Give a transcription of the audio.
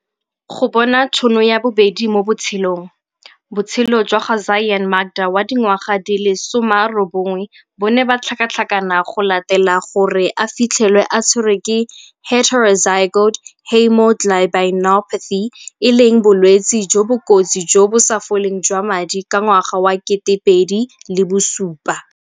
Go bona tšhono ya bobedi mo botshelong. Botshelo jwa ga Zyaan Makda wa dingwaga di le 19 bo ne ba tlhakatlhakana go latela gore a fitlhelwe a tshwerwe ke heterozygote haemoglobinopathy, e leng bolwetse jo bo kotsi jo bo sa foleng jwa madi ka ngwaga wa 2007.